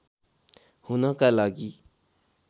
हुनका लागि